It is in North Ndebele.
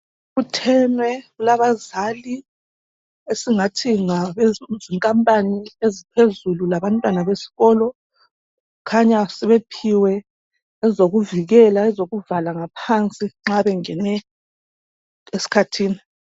Kubuthenwe kulabazali esingathi ngabezinkampani eziphezulu labantwana besikolo kukhanya sebephiwe ezokuvikela ezokuvala ngaphansi nxa bengene esikhathini